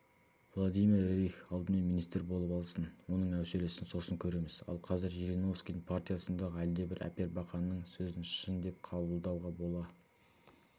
владимир рерих алдымен министр болып алсын оның әуселесін сосын көреміз ал қазір жириновскийдің партиясындағы әлдебір әпербақанның сөзін шын деп қабылдауға бола